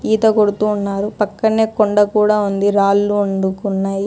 ఈత కొడుతూ ఉన్నారు పక్కనే కొండ కూడా ఉంది రాళ్లు ఉండుకున్నాయి.